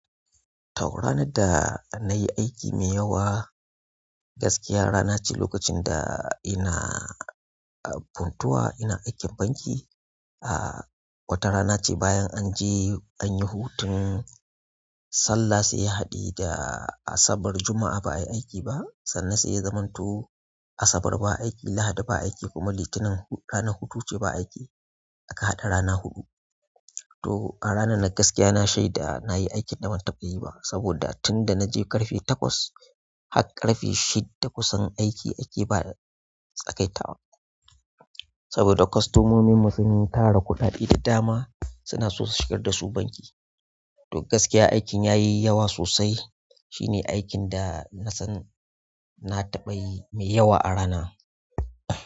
To ranar da nayi aiki mai yawa gaskiya rana ce lokacin da ina a Puntuwa ina aikin banki. A watan rana ce bayan an je an yi hutun. Sallah sai haɗe da asabar juma'a ba a yi aiki ba sannan sai ya zamanto. Asabar ba aiki, lahadi ba aiki kuma litinin ranar hutu ce ba aiki aka haɗa rana huɗu. To a ranar nan gaskiya na shaida nayi aikin da bantaba yi ba saboda tunda na je ƙarfe takwas har ƙarfe shidda kusan aiki ake ba sagaitawa. Saboda kostomomin mu sun tara kuɗade da dama suna so su shigar dasu banki. To gaskiya aikin ya yi yawa sosai shine aikin da na san na taɓa yi mai yawa a rana.